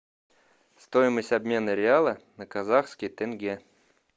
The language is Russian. стоимость обмена реала на казахский тенге